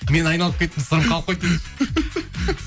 мен айналып кеттім сырым қалып қойды десейші